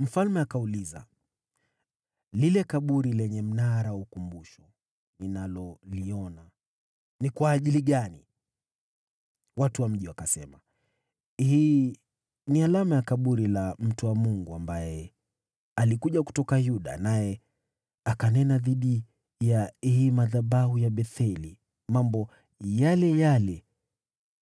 Mfalme akauliza, “Lile kaburi lenye mnara wa ukumbusho ninaloliona ni kwa ajili gani?” Watu wa mji wakasema, “Hii ni alama ya kaburi la mtu wa Mungu aliyekuja kutoka Yuda, naye akanena dhidi ya hii madhabahu ya Betheli mambo yale yale